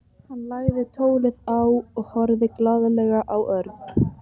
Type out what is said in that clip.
Hann lagði tólið á og horfði glaðlega á Örn.